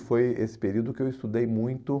E foi esse período que eu estudei muito.